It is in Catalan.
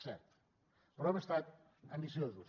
cert però hem estat ambiciosos